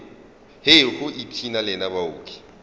hei go ipshina lena baoki